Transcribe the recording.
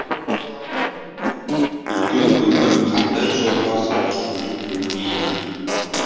үлкен өмір қандай жолға салатынын білмеймін